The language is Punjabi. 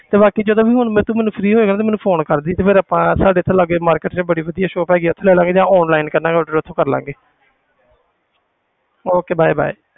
ਤੇ ਬਾਕੀ ਜਦੋਂ ਵੀ ਹੁਣ ਮਤਲਬ ਤੂੰ free ਹੋਏਗਾ ਤੇ ਮੈਨੂੰ phone ਕਰ ਦੇਵੀਂ ਤੇ ਫਿਰ ਆਪਾਂ ਸਾਡੇ ਇੱਥੇ ਲਾਗੇ market 'ਚ ਬੜੀ ਵਧੀਆ shop ਹੈਗੀ ਹੈ ਉੱਥੇ ਲੈ ਲਵਾਂਗੇ ਜਾਂ online ਕਰ ਲਵਾਂਗੇ order ਉੱਥੋਂ ਕਰ ਲਵਾਂਗੇ okay bye bye